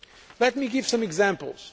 Let me give some examples.